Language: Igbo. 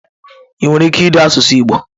Ị nwere ike ide asụsụ igbo?